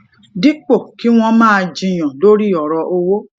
dípò kí wón máa jiyàn lórí òro owó